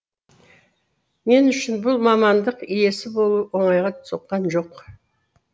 мен үшін бұл мамандық иесі болу оңайға соққан жоқ